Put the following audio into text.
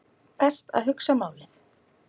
Best að hugsa málið.